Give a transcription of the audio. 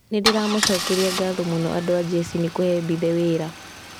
"Nĩndĩramacokeria ngatho mũno andũ a jeshi nĩ kũhe Mbithe wĩra".